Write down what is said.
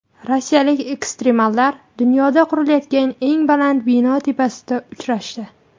Rossiyalik ekstremallar dunyoda qurilayotgan eng baland bino tepasida uchrashdi .